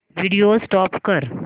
video stop कर